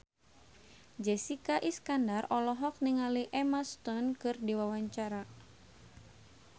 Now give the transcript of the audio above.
Jessica Iskandar olohok ningali Emma Stone keur diwawancara